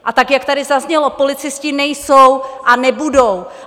A tak jak tady zaznělo, policisté nejsou a nebudou.